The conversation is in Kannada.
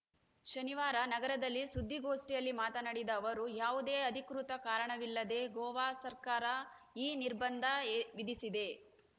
ಶನಿವಾರ ನಗರದಲ್ಲಿ ಸುದ್ದಿಗಾಷ್ಠಿಯಲ್ಲಿ ಮಾತನಾಡಿದ ಅವರು ಯಾವುದೇ ಅಧಿಕೃತ ಕಾರಣವಿಲ್ಲದೆ ಗೋವಾ ಸರ್ಕಾರ ಈ ನಿರ್ಬಂಧ ಎ ವಿಧಿಸಿದೆ